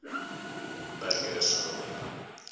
burgersdorp